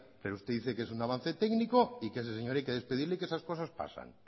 pero usted dice que es un avance técnico y que a ese señor hay que despedirle y que esas cosas pasan